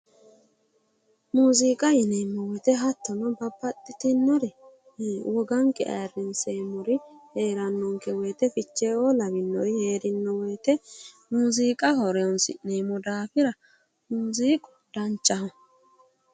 Muuziiqa yineemmo woyiite hattono babbaxxitino woganke ayiirrinsanniri heerannonke wote ficheeoo lawinori heeranno wote muuziiqa horonsi'neemmo daafira muuziiqu danchaho.